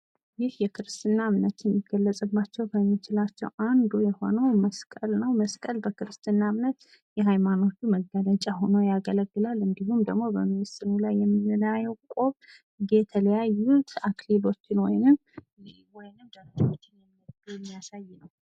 ይህ የክርስትና እምነት ሊገለጽባቸው የሚችላባቸው አንዱ የሆነው መስቀል ነው። መስቀል በክርስትና እምነት የሃይማኖት መገለጫ ሁኖ ያገለግላል። እንዲሁም ደግሞ ምስሉ ላይ የተለያዩ አክሊሎችን የሚያሳይ ነው።